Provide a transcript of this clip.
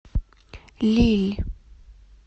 лилль